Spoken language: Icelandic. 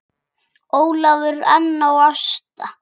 Ólafur, Anna og Ásta.